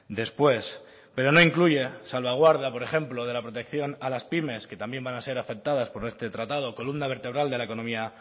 después pero no incluye salvaguarda por ejemplo de la protección a las pymes que también van a ser afectadas por este tratado columna vertebral de la economía